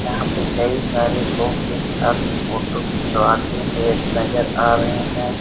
यहां पे कई सारे लोग एक साथ फोटो खिंचवाते हुए नजर आ रहे हैं।